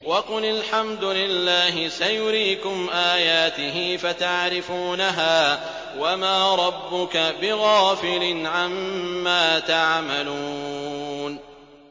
وَقُلِ الْحَمْدُ لِلَّهِ سَيُرِيكُمْ آيَاتِهِ فَتَعْرِفُونَهَا ۚ وَمَا رَبُّكَ بِغَافِلٍ عَمَّا تَعْمَلُونَ